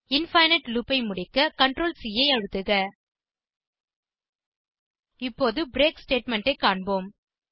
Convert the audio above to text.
infinite loop ஐ முடிக்க Ctrl C ஐ அழுத்துக இப்போது பிரேக் ஸ்டேட்மெண்ட் ஐ காண்போம்